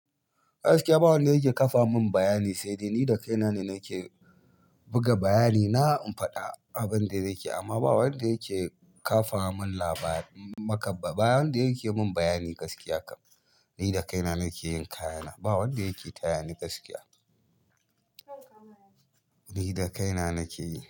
Gaskiya ba wanda yake ƙafa min bayani, sai dai ni da kaina ne nake buga bayani na. In faɗa abin da nake yi amma ba wanda yake ƙafa min labari. Ba wanda yake mun bayani gaskiya kam, ni da kaina nake yin kayana. Ba wanda yake taya ni gaskiya, ni da kaina nake yi.